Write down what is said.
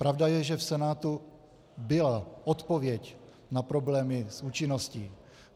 Pravda je, že v Senátu byla odpověď na problémy s účinností.